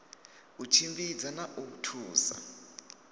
u tshimbidza na u thusa